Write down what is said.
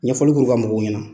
Ɲɛfɔli kuru ka mɔgɔw ɲɛna.